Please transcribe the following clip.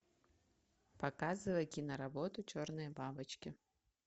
показывай киноработу черные бабочки